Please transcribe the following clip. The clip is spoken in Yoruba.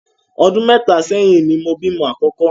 Ọdún mẹ́ta ṣéyìn ni mo bímọ àkọ́kọ́.